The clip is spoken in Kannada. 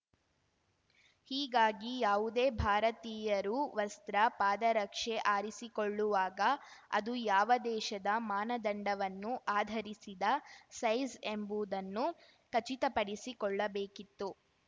ಹೀಗಾಗಿ ಯಾವುದೇ ಭಾರತೀಯರು ವಸ್ತ್ರ ಪಾದರಕ್ಷೆ ಆರಿಸಿಕೊಳ್ಳುವಾಗ ಅದು ಯಾವ ದೇಶದ ಮಾನದಂಡವನ್ನು ಆಧರಿಸಿದ ಸೈಜ್‌ ಎಂಬುದನ್ನು ಖಚಿತಪಡಿಸಿಕೊಳ್ಳಬೇಕಿತ್ತು